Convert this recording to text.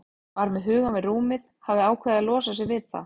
Var með hugann við rúmið, hafði ákveðið að losa sig við það.